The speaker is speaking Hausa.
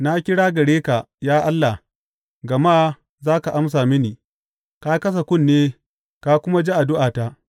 Na kira gare ka, ya Allah, gama za ka amsa mini; ka kasa kunne ka kuma ji addu’ata.